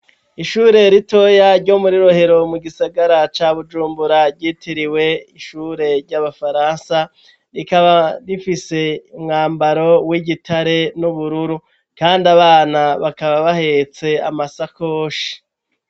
Ishure ritoya ryo muri Rohero mu gisagara ca Bujumbura ryitiriwe ishure ry'abafaransa ,rikaba rifise umwambaro w'igitare n'ubururu, kandi abana bakaba bahetse amasakoshi.